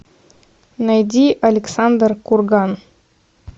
найди александр курган